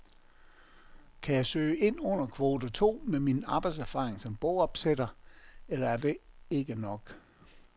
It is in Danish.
Kan jeg søge ind under kvote to med min arbejdserfaring som bogopsætter, eller er det ikke nok?